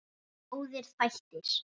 Góðir þættir.